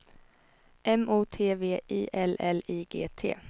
M O T V I L L I G T